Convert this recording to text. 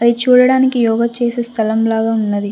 ఇది చూడడానికి యోగ చేసే స్థలం లాగా ఉన్నది.